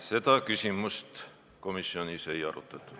Seda küsimust komisjonis ei arutatud.